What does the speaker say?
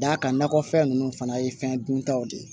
D'a kan nakɔfɛn ninnu fana ye fɛn duntaw de ye